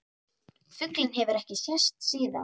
Fuglinn hefur ekki sést síðan.